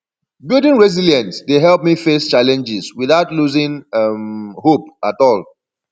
building resilience dey help me face challenges without losing um hope at all